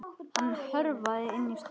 Hann hörfaði inn í stofu.